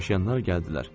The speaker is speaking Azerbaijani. Yükdaşıyanlar gəldilər.